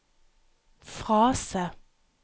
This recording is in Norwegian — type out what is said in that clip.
frase